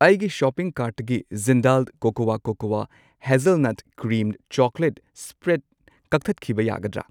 ꯑꯩꯒꯤ ꯁꯣꯄꯤꯡ ꯀꯥꯔꯠꯇꯒꯤ Jindal cocoa cocoa hazelnut cream chocolate spread ꯀꯛꯊꯠꯈꯤꯕ ꯌꯥꯒꯗ꯭ꯔꯥ?